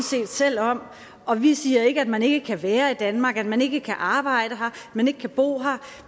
set selv om om vi siger ikke at man ikke kan være i danmark at man ikke kan arbejde her at man ikke kan bo her